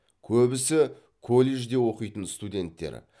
көбісі колледжде оқитын студенттер